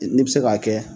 N'i bɛ se k'a kɛ